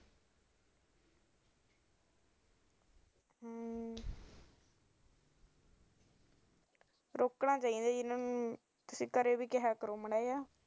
ਰੋਕਣਾ ਚਾਹੀਦਾ ਐ ਕਰਿਆ ਵੀ ਕਿਹਾ ਕਰੋ ਮਾੜਾ